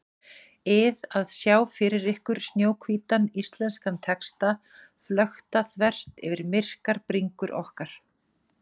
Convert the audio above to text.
ið að sjá fyrir ykkur snjóhvítan íslenskan texta flökta þvert yfir myrkar bringur okkar.